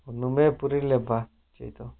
ஒன்னுமே புரியலப்பா சேது